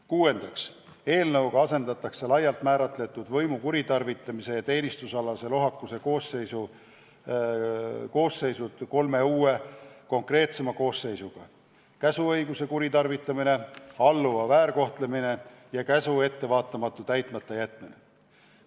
Kuuendaks, eelnõuga asendatakse laialt määratletud võimu kuritarvitamise ja teenistusalase lohakuse koosseisud kolme uue, konkreetsema koosseisuga: käsuõiguse kuritarvitamine, alluva väärkohtlemine ja käsu ettevaatamatu täitmatajätmine.